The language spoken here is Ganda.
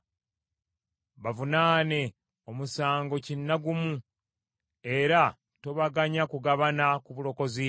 Bavunaane omusango kina gumu, era tobaganya kugabana ku bulokozi bwo.